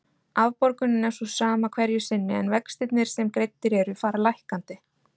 Afborgunin er sú sama hverju sinni en vextirnir sem greiddir eru fara lækkandi.